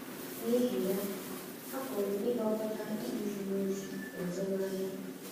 N’ihi ya, a pụrụ ịgwakọta ikpe ziri ezi na azụmahịa.